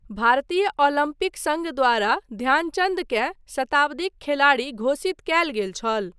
भारतीय ओलम्पिक सङ्घ द्वारा ध्यानचन्दकेँ शताब्दीक खेलाड़ी घोषित कयल गेल छल।